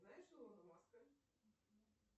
знаешь илона маска